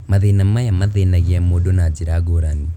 Maũndũ maya mathĩnagia mũndũ na njĩra ngũrani